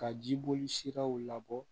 Ka jiboli siraw labɔ